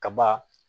Kaba